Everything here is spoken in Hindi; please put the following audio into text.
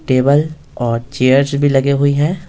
टेबल और चेयर्स भी लगे हुई हैं।